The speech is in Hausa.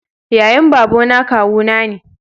yayan babana kawu na ne